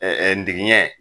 Ɛɛ digiɲɛ